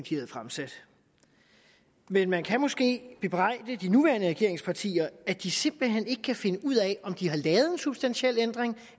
havde fremsat men man kan måske bebrejde de nuværende regeringspartier at de simpelt hen ikke kan finde ud af om de har lavet en substantiel ændring